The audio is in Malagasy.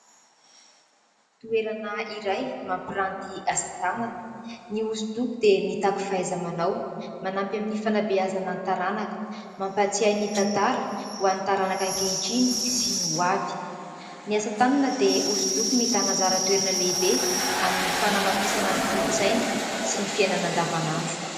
Toerana iray mampiranty asa tanana. Ny hosodoko dia mitaky fahaiza-manao, manampy amin'ny fanabeazana ny taranaka, mampatsiahy ny tantara ho an'ny taranaka ankehitriny sy ny hoavy. Ny asa tanana dia hosodoko mitana anjara toerana lehibe amin'ny fanamafisana ny kolontsaina sy ny fiainana andavanandro.